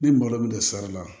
Ni balo bɛ don sara la